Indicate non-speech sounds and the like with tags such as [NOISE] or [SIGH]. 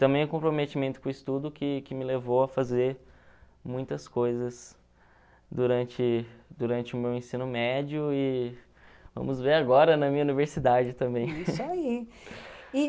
Também o comprometimento com o estudo que que me levou a fazer muitas coisas durante durante o meu ensino médio e vamos ver agora na minha universidade também. [LAUGHS] É isso ai.